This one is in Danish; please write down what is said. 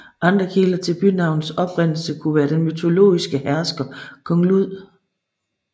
Andre kilder til bynavnets oprindelse kunne være den mytologiske hersker Kong Lud